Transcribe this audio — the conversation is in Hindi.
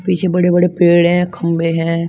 पीछे बड़े बड़े पेड़ हैं खंभे है।